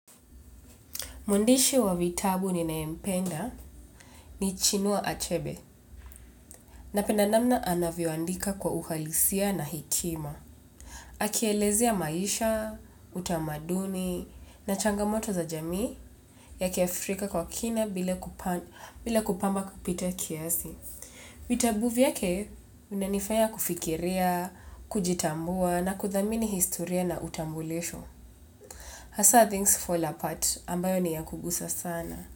Mwandishi wa vitabu ninayempenda ni chinua achebe napenda namna anavyoandika kwa uhalisia na hekima. Akielezea maisha, utamaduni na changamoto za jamii ya kiafrika kwa kina bila kupamba kupita kiasi. Vitabu vyake vinanifaya kufikiria, kujitambua na kuthamini historia na utambulisho. Hasa things fall apart ambayo ni ya kugusa sana.